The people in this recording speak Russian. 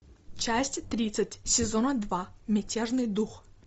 часть тридцать сезона два мятежный дух